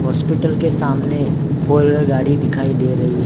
Hospital के सामने four wheeler गाड़ी दिखाई दे रही है।